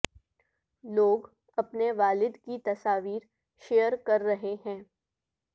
لوگ اپنے والد کی تصاویر شیئئر کر رہے ہیں